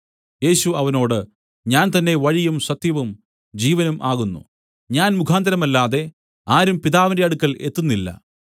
യേശു അവനോട് ഞാൻ തന്നേ വഴിയും സത്യവും ജീവനും ആകുന്നു ഞാൻ മുഖാന്തരമല്ലാതെ ആരും പിതാവിന്റെ അടുക്കൽ എത്തുന്നില്ല